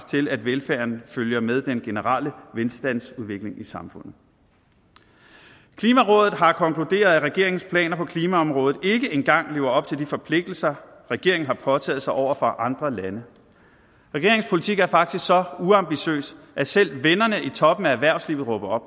til at velfærden følger med den generelle velstandsudvikling i samfundet klimarådet har konkluderet at regeringens planer på klimaområdet ikke engang lever op til de forpligtelser regeringen har påtaget sig over for andre lande regeringens politik er faktisk så uambitiøs at selv vennerne i toppen af erhvervslivet råber